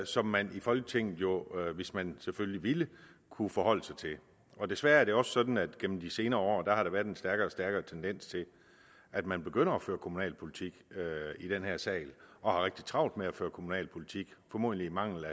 som man i folketinget jo hvis man selvfølgelig ville kunne forholde sig til desværre er det også sådan at der gennem de senere år har været en stærkere og stærkere tendens til at man begynder at føre kommunalpolitik i den her sal og har rigtig travlt med at føre kommunalpolitik formodentlig af mangel